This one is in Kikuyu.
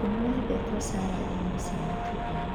Ndimũ yendetwo carandi-ini cia matunda